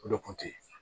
O de kun teyi